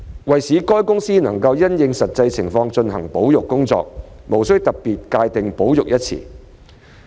為使海洋公園公司能因應實際情況進行保育工作，無須特別界定"保育"一詞。